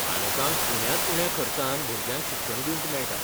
पालकांक उण्यांत उण्या खर्चान भुरग्यांक शिक्षण दिवंक मेळटा.